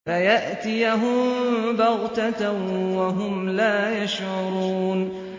فَيَأْتِيَهُم بَغْتَةً وَهُمْ لَا يَشْعُرُونَ